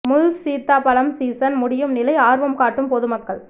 முள் சீத்தா பழம் சீசன் முடியும் நிலை ஆா்வம் காட்டும் பொதுமக்கள்